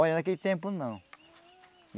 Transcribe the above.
Olha, naquele tempo, não.